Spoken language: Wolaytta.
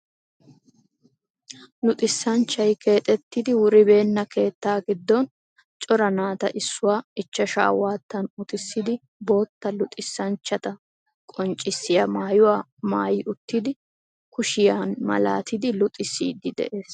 Luxissanchchay keexettidi wuribeenna keettaa giddon cora naata issuwa ichchashaa waattan utissidi bootta luxissanchchata qonccissiya maayuwa maayi uttidi kushiya malaatiiddi luxissiiddi de'ees.